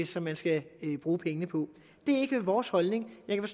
som man skal bruge pengene på det er ikke vores holdning jeg